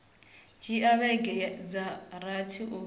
dzhia vhege dza rathi u